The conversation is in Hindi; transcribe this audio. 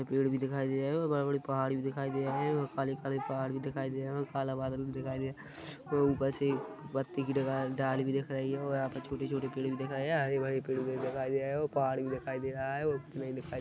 पेड़ भी दिखाई दे रहे है और बड़े बड़े पहाड़ भी दिखाई दे रहे है और काले काले पहाड़ भी दिखाई दे रहे है काला बादल भी दिखाई दे ऊपर से पत्ती की ढाली भी दिख रही है और यहां पे छोटे छोटे पेड़ भी दिखाई हरी पेड़ भी दिखाई और पहाड़ भी दिखाई दे रहे है ]